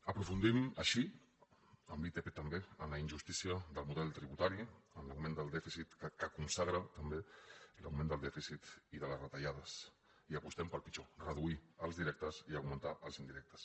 aprofundim així amb l’itp també en la injustícia del model tributari en l’augment del dèficit que consagra també l’augment del dèficit i de les retallades i apostem pel pitjor reduir els directes i augmentar els indirectes